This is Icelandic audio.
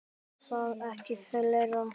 Svo var það ekki fleira.